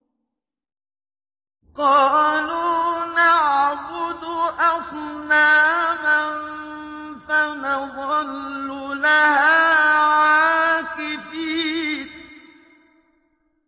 قَالُوا نَعْبُدُ أَصْنَامًا فَنَظَلُّ لَهَا عَاكِفِينَ